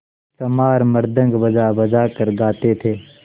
चमार मृदंग बजाबजा कर गाते थे